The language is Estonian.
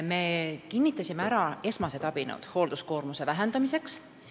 Me kinnitasime ära esmased abinõud hoolduskoormuse vähendamiseks.